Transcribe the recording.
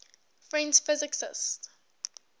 french physicists